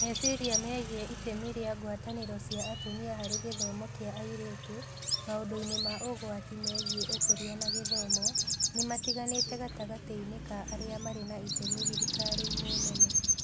Meciria megiĩ itemi rĩa ngwatanĩro cia atumia harĩ gĩthomo kĩa airĩtu maũndũ-inĩ ma ũgwati megiĩ Ũkũria na Githomo nĩ matiganĩte gatagatĩ-inĩ ka arĩa marĩ na itemi thirikari-inĩ nene.